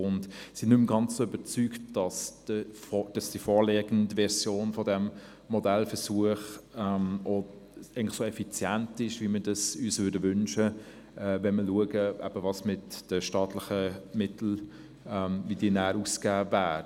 Wir sind nicht mehr ganz so überzeugt davon, dass die vorliegende Version dieses Modellversuchs auch so effizient ist, wie wir es uns wünschen, wenn wir sehen, wie die staatlichen Mittel ausgegeben werden sollen.